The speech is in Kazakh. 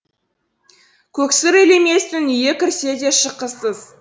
көксұр елеместің үйі кірсе де шыққысыз